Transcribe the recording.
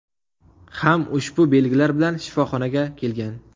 ham ushbu belgilar bilan shifoxonaga kelgan.